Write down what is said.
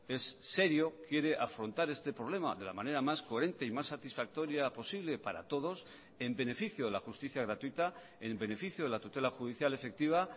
es serio quiere afrontar este problema de la manera más coherente y más satisfactoria posible para todos en beneficio de la justicia gratuita en beneficio de la tutela judicial efectiva